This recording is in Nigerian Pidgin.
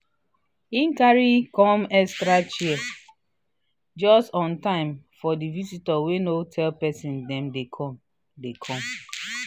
e carry come extra chair just on time for di visitors wey no tell person dem dey come. dey come.